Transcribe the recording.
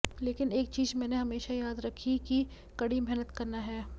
लेकिन एक चीज मैंने हमेशा याद रखी कि कड़ी मेहनत करना है